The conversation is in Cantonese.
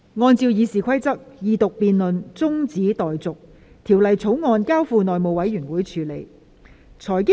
按照《議事規則》，二讀辯論中止待續，《條例草案》交付內務委員會處理。